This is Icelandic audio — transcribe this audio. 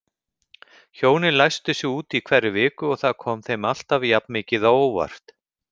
Hjónin læstu sig úti í hverri viku og það kom þeim alltaf jafnmikið á óvart.